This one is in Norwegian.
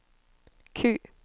Q